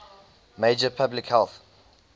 major public health